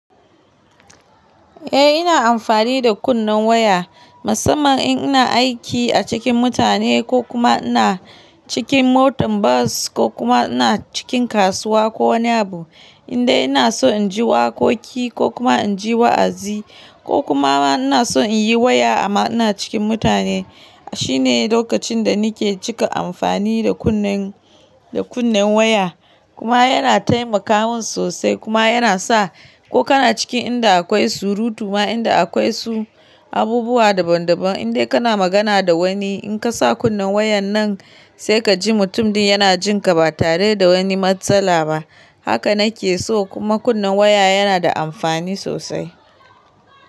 Eh ina amfani da kunnen waya, musamman in ina aiki a cikin mutane ko kuma ina cikin motar bas, ko kuma ina cikin kasuwa ko wani abu. Indai ina so in ji waƙoƙi ko kuma in ji wa’azi, ko kuma ina so in yi waya amma ina cikin mutane. Shine lokacin da nake cika amfani da kunnen, da kunnen waya. Kuma yana taimakawa sosai kuma yana sa ko kana cikin inda akwai surutu ma inda akwai su abubuwa daban daban, indai kana magana da wani in ka sa kunnen wayan nan, sai ka ji mutum din yana jin ka, ba tare da wani matsala ba. Haka na ke so, kuma kunnen waya yana da amfani sosai.